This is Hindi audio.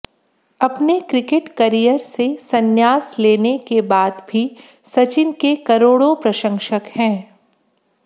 अपने क्रिकेट करियर से संन्यास लेने के बाद भी सचिन के करोड़ो प्रंशसक हैं